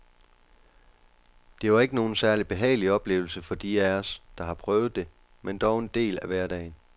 Det var ikke nogen særlig behagelig oplevelse for de af os, der har prøvet det, men dog en del af hverdagen.